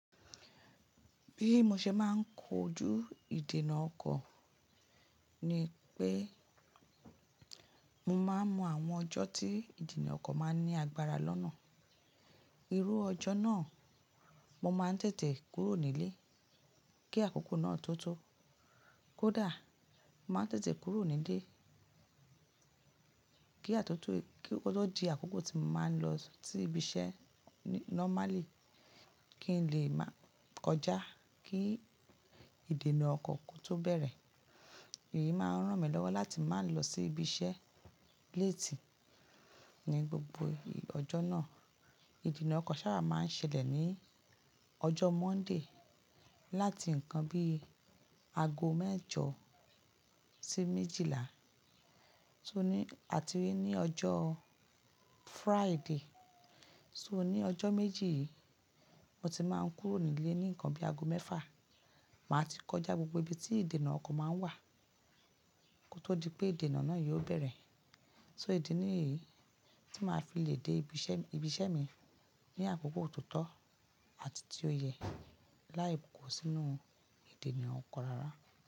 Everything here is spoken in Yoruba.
Bí mo ṣe máa ń kojú ìdènà ọkọ̀ ni pé mo máa ń mọ àwọn ọjọ́ tí ìdènà ọkọ̀ máa ní agbára lọ́nà. Irú ọjọ́ náà, mo máa ń tètè kúrò nílé kí àkókò náà tó tó. Kódà, màá tètè kúrò nílé kí ó tó di àkókò tí mo máa ń lọ sí ibi iṣẹ́ n-normally kí n lè máa kọjá kí ìdènà ọkọ̀ tó bẹ̀rẹ̀. Èyí máa ń ràn mí lọ́wọ́ láti má lọ sí ibi iṣẹ́ late ní gbogbo ọjọ́ náà. Ìdènà ọkọ̀ sábà máa ń ṣẹlẹ̀ ní ọjọ́ Monday láti nǹkan bí i ago mẹ́jọ sí méjìlá, tó ní àti ní ọjọ́ Friday. So ní ọjọ́ méjì yìí, mo ti máa ń kúrò nílé ní nǹkan bí i ago mẹ́fà, màá ti kọjá gbogbo ibi tí ìdènà ọkọ̀ máa ń wà kó tó di pé ìdènà náà yóò bẹ̀rẹ̀. So ìdí nìyí tí màá fi lè dé ibi iṣẹ́ mi ní àkókò totó àti tí ó yẹ láì ko sínú ìdènà ọkọ̀ rárá.